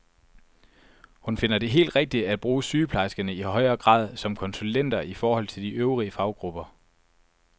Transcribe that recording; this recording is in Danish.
Hun finder det helt rigtigt at bruge sygeplejerskerne i højere grad som konsulenter i forhold til de øvrige faggrupper.